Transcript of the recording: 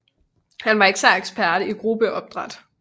Han var især ekspert i gruppeportrættet